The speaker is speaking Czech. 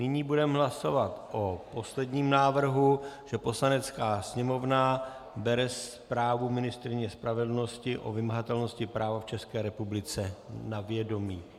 Nyní budeme hlasovat o posledním návrhu, že Poslanecká sněmovna bere zprávu ministryně spravedlnosti o vymahatelnosti práva v České republice na vědomí.